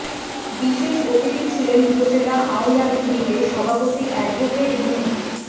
বিশেষ অতিথি ছিলেন উপজেলা আওয়ামী লীগের সভাপতি অ্যাডভোকেট মু